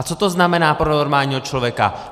A co to znamená pro normálního člověka?